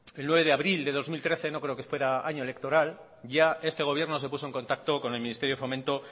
el nueve de abril de dos mil trece no creo que fuera año electoral ya este gobierno se puso en contacto con el ministerio de fomento